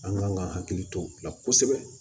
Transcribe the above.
An kan ka hakili to o la kosɛbɛ